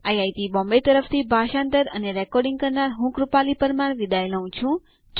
IIT Bombay તરફથી ભાષાંતર કરનાર હું કૃપાલી પરમાર વિદાય લઉં છું